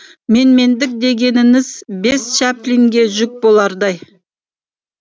менмендік дегеніңіз бес чаплинге жүк болардай